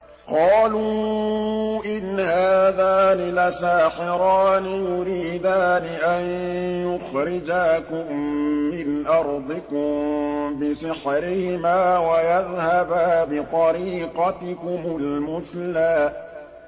قَالُوا إِنْ هَٰذَانِ لَسَاحِرَانِ يُرِيدَانِ أَن يُخْرِجَاكُم مِّنْ أَرْضِكُم بِسِحْرِهِمَا وَيَذْهَبَا بِطَرِيقَتِكُمُ الْمُثْلَىٰ